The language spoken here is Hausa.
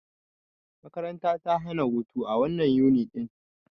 Makaranta ta tana hutu a wannan Yuni ɗin.